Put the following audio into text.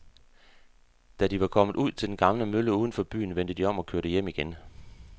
Da de var kommet ud til den gamle mølle uden for byen, vendte de om og kørte hjem igen.